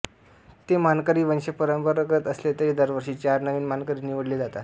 ते मानकरी वंशपरंपरागत असले तरी दरवर्षी चार नवीन मानकरी निवडले जातात